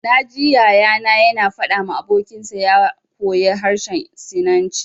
Na ji Yaya na ya na faɗa ma abokin sa ya koya harshen sinanci